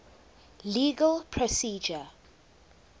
legal procedure